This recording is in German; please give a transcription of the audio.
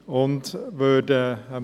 Er geht zu weit.